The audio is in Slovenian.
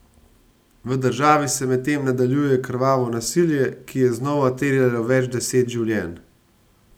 V državi se medtem nadaljuje krvavo nasilje, ki je znova terjalo več deset življenj.